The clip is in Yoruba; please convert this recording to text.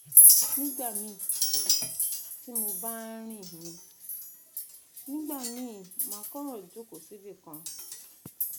nigbamii ti mo ba rin ni nigbamii ma kan joko sibikan